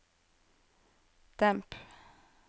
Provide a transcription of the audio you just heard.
demp